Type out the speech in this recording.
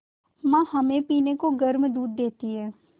माँ हमें पीने को गर्म दूध देती हैं